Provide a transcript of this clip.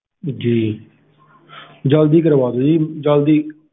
ਜੀ ਜਲਦੀ ਕਰਵਾਦੋ ਜੀ ਜਲਦੀ